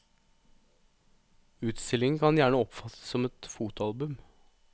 Utstillingen kan gjerne oppfattes som et fotoalbum.